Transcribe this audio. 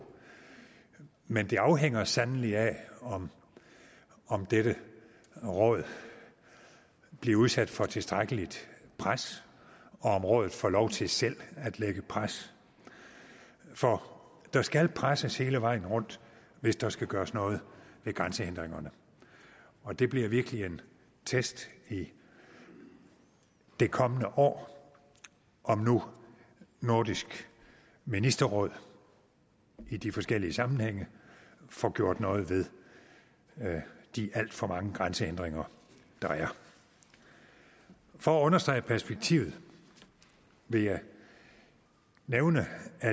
men det afhænger sandelig af om om dette råd bliver udsat for tilstrækkeligt pres og om rådet får lov til selv at lægge pres for der skal presses hele vejen rundt hvis der skal gøres noget ved grænsehindringerne og det bliver virkelig en test i det kommende år om nu nordisk ministerråd i de forskellige sammenhænge får gjort noget ved de alt for mange grænsehindringer der er for at understrege perspektivet vil jeg nævne at